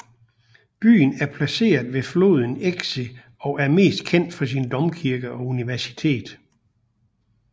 Byen er placeret ved floden Exe og er mest kendt for sin domkirke og universitet